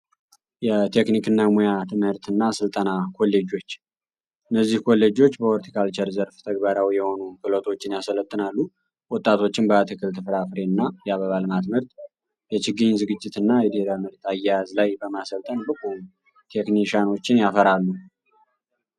የቴክኒክ እና ሙያ ትምህርት እና ሥልጠና ኮሌጆች እነዚህ ኮሌጆች በሆርቲካልቸር ዘርፍ ተግበራዊ የሆኑን ክህሎቶችን ያሰለጥናሉ። ወጣቶችን በአትክል ትፍራፍሬ እና ያበባ ልማት ምርት የችግኝ ዝግጅት እና የዴረ ምርት አያያዝ ላይ በማሰልጠን ብቁ ቴክኒሻኖችን ያፈራሉ።